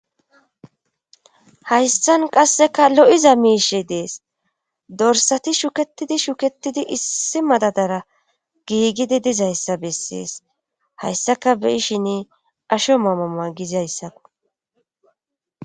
Hayssan qasseka lo7iza miishi dees dorsati shuketidi shuketidi issi madadara giigidi dizayssa bessees hayssaka beyishin asho mamama gizayssakko.